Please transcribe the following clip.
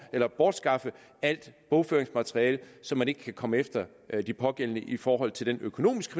at bortskaffe alt bogføringsmateriale så man ikke kan komme efter de pågældende i forhold til den økonomiske